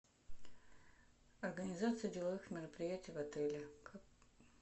организация деловых мероприятий в отеле